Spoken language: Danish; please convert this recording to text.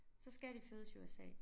Så skal de fødes i USA